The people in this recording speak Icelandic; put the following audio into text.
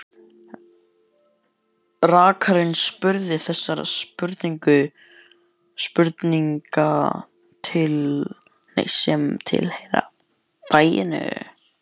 Rakarinn spurði þessara spurninga sem tilheyra faginu: